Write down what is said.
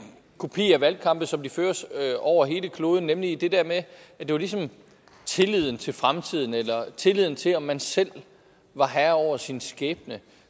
kopi af valgkampe som de føres over hele kloden nemlig det der med at det ligesom var tilliden til fremtiden eller tilliden til at man selv var herre over sin skæbne